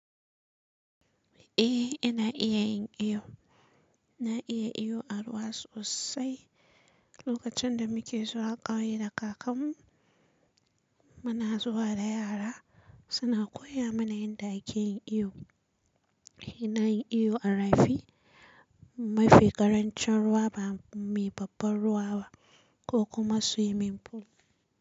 Eh, ina iya yin iyo. Na iya iyo a ruwa sosai. Lokacin da muke zuwa ƙauye da kakanmu, muna zuwa da yara suna koya mana yanda ake yin iyo. Ina yin iyo a rafi. Mafi ƙarancin ruwa ba mai babban ruwa ba ko kuma swimming pool.